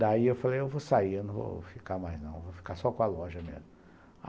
Daí eu falei, eu vou sair, eu não vou ficar mais não, vou ficar só com a loja mesmo.